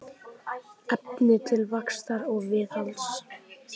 Efni til vaxtar og viðhalds.